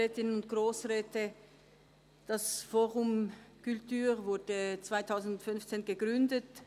Das «fOrum culture» wurde 2015 gegründet.